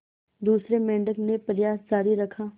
दूसरे मेंढक ने प्रयास जारी रखा